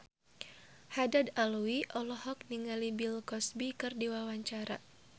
Haddad Alwi olohok ningali Bill Cosby keur diwawancara